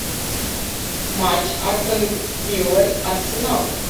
матч астон вилла арсенал